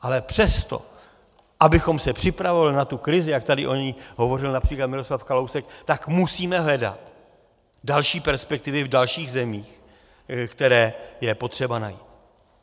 Ale přesto abychom se připravovali na tu krizi, jak tady o ní hovořil například Miroslav Kalousek, tak musíme hledat další perspektivy v dalších zemích, které je potřeba najít.